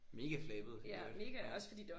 Mega flabet i øvrigt ja